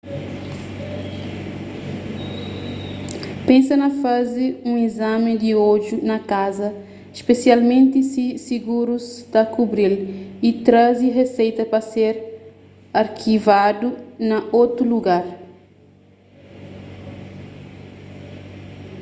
pensa na faze un izami di odju na kaza spesialmenti si sigurus ta kubri-l y traze riseita pa ser arkivadu na otu lugar